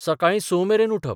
सकाळीं स मेरेन उठप.